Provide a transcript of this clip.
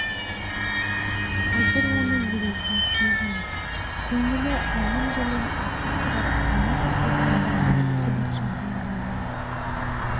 қазір оны елейтін кез емес көңілі әлем жәлем ақыл сұрап көмек күтетін адам сәбитжандай бола ма